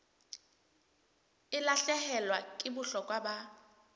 e lahlehelwa ke bohlokwa ba